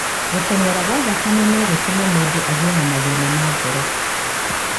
Gũteng'era kwa thakame no gũtũme mũndũ agĩe na mathĩna ma ngoro.